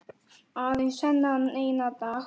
Aðeins þennan eina dag!